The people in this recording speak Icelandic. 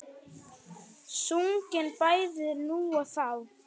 Sungin bæði nú og þá.